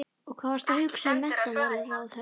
Og hvað varstu að hugsa um menntamálaráðherra?